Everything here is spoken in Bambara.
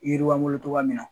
yiriwa n bolo tɔgɔya min na